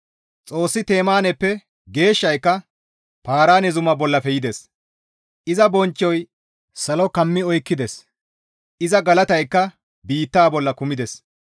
Xoossi Temaaneppe Geeshshayka Paaraane zuma bollafe yides; Iza bonchchoy salo kammi oykkides; Iza galataykka biitta bolla kumides.